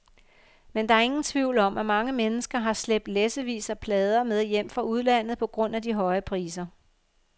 Men der er ingen tvivl om, at mange mennesker har slæbt læssevis af plader med hjem fra udlandet på grund af de høje priser.